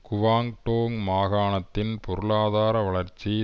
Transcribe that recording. Guangdong மாகாணத்தின் பொருளாதார வளர்ச்சி